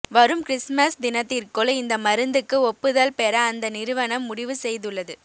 வரும் கிறிஸ்மஸ் தினத்திற்குள் இந்த மருந்துக்கு ஒப்புதல் பெற அந்த நிறுவனம் முடிவு செய்துள்ளது